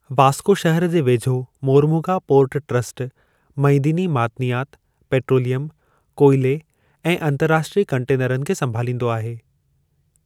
वास्को शहर जे वेझो मोरमुगा पोर्ट ट्रस्ट मइदिनी मादनियात, पेट्रोलियम, कोइले ऐं अंतर्राष्ट्रीय कंटेनरनि खे संभालींदो आहे।